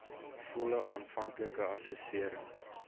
volle aanvanklike assessering